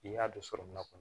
I y'a don so min na